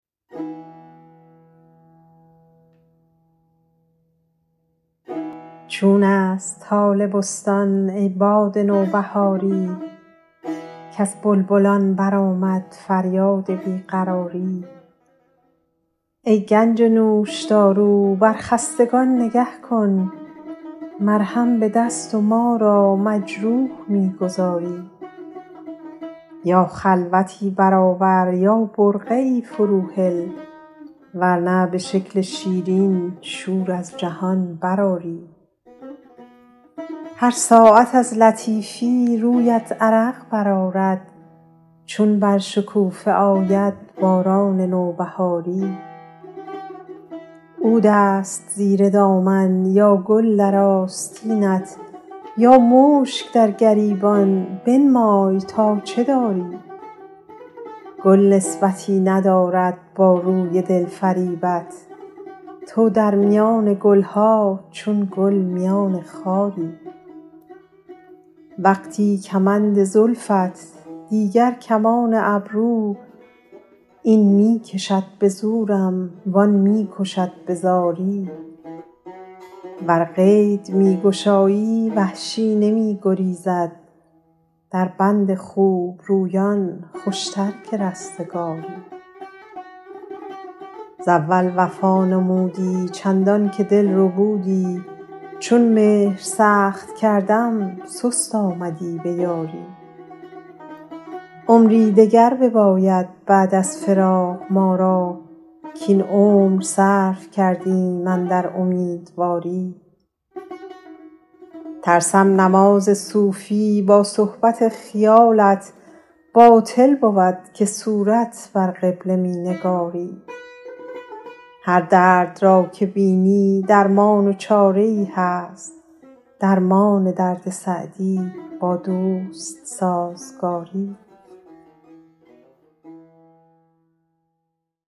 چون است حال بستان ای باد نوبهاری کز بلبلان برآمد فریاد بی قراری ای گنج نوشدارو با خستگان نگه کن مرهم به دست و ما را مجروح می گذاری یا خلوتی برآور یا برقعی فروهل ور نه به شکل شیرین شور از جهان برآری هر ساعت از لطیفی رویت عرق برآرد چون بر شکوفه آید باران نوبهاری عود است زیر دامن یا گل در آستینت یا مشک در گریبان بنمای تا چه داری گل نسبتی ندارد با روی دل فریبت تو در میان گل ها چون گل میان خاری وقتی کمند زلفت دیگر کمان ابرو این می کشد به زورم وآن می کشد به زاری ور قید می گشایی وحشی نمی گریزد در بند خوبرویان خوشتر که رستگاری ز اول وفا نمودی چندان که دل ربودی چون مهر سخت کردم سست آمدی به یاری عمری دگر بباید بعد از فراق ما را کاین عمر صرف کردیم اندر امیدواری ترسم نماز صوفی با صحبت خیالت باطل بود که صورت بر قبله می نگاری هر درد را که بینی درمان و چاره ای هست درمان درد سعدی با دوست سازگاری